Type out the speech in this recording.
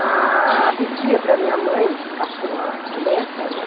Ah, pedia para minha mãe ficar com a a neta, né?